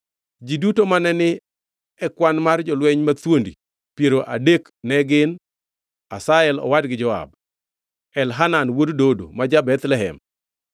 Ji duto mane ni e kwan mar jolweny mathuondi piero adek ne gin: Asahel owadgi Joab, Elhanan wuod Dodo ma ja-Bethlehem,